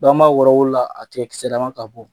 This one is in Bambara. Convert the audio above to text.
Bawo an b'a wɔɔrɔn an bolo la a tigɛ kisɛalman ka bɔ.